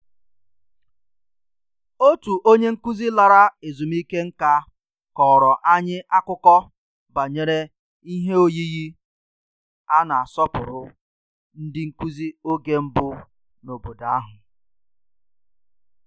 Onye nkụzi lagoro ezumike nka kọọrọ anyị akụkọ banyere ihe ọkpụkpụ na-asọpụrụ ndị nkụzi mbụ n'obodo ahụ